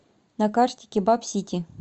на карте кебаб сити